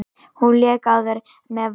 Hún lék áður með Val.